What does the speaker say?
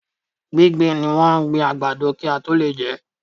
Gbígbìn ni wọ́n gbin àgbàdo kí a tó lè jẹ́.